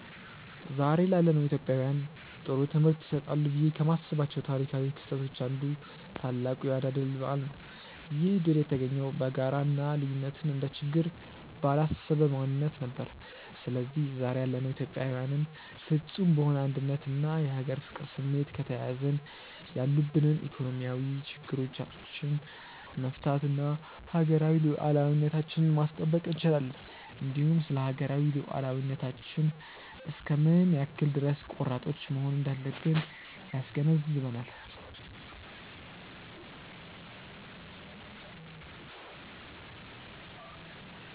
ዛሬ ላለነው ኢትዮጵያውያን ጥሩ ትምህርት ይሰጣሉ ብዬ ከማስባቸው ታሪካው ክስተቶች አንዱ ታላቁ የአድዋ ድል በዓል ነው። ይህ ድል የተገኘው በጋራ እና ልዩነትን እንደ ችግር ባላሰበ ማንነት ነበር። ስለዚህ ዛሬ ያለነው ኢትዮጵያዊያንም ፍፁም በሆነ አንድነት እና የሀገር ፍቅር ስሜት ከተያያዝን ያሉብንን ኢኮኖሚያዊ ችግሮቻች መፍታት እና ሀገራዊ ሉዓላዊነታችንን ማስጠበቅ እንችላለን። እንዲሁም ስለሀገራዊ ሉዓላዊነታችን እስከ ምን ያክል ድረስ ቆራጦች መሆን እንዳለብን ያስገነዝበናል።